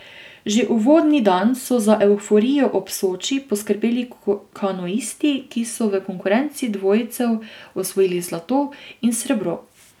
Že uvodni dan so za evforijo ob Soči poskrbeli kanuisti, ki so v konkurenci dvojcev osvojili zlato in srebro.